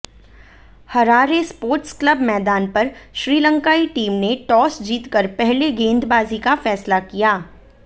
Harare sports club मैदान पर श्रीलंकाई टीम ने टॉस जीतकर पहले गेंदबाजी का फैसला किया